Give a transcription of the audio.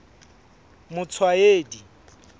motshwaedi